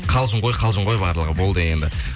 қалжын ғой қалжын ғой барлығы болды енді